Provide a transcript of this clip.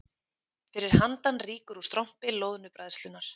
Fyrir handan rýkur úr strompi loðnubræðslunnar